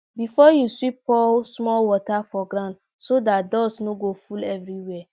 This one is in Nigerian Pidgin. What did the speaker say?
before you sweep pour small water for ground so dat dust no go full everywhere